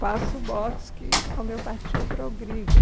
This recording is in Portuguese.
Faço botos que a homeopatia progrida.